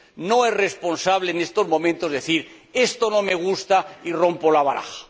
No es responsable en estos momentos decir esto no me gusta y rompo la baraja.